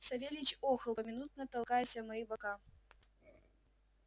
савельич охал поминутно толкаясь о мои бока